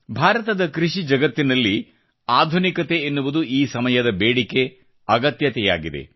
ಭಾರತದ ಕೃಷಿ ಜಗತ್ತಿನಲ್ಲಿ ಆಧುನಿಕತೆ ಎನ್ನುವುದು ಈ ಸಮಯದ ಬೇಡಿಕೆ ಅಗತ್ಯವಾಗಿದೆ